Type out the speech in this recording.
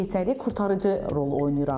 Keysəriyyə qurtarıcı rol oynayır artıq.